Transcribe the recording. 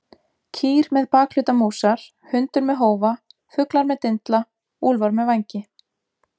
Kýr með bakhluta músar, hundur með hófa, fuglar með dindla, úlfar með vængi.